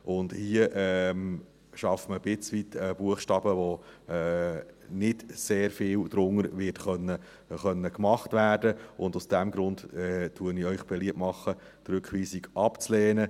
Hier schafft man ein Stück weit einen Buchstaben, unter dem nicht sehr viel gemacht werden kann, und aus diesem Grund mache ich Ihnen beliebt, die Rückweisung abzulehnen.